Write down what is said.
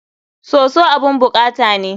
Soso abun bukata ne.